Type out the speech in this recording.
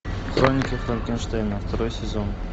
хроники франкенштейна второй сезон